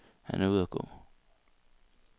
Han er ude at gå.